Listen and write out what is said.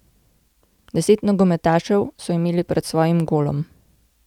Deset nogometašev so imeli pred svojim golom.